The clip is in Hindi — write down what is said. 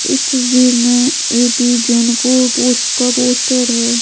इस तस्वीर में ए_पी को पोस्ट का पोस्ट हो रहा है।